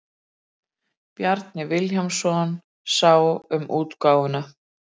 Bjarni Vilhjálmsson sá um útgáfuna.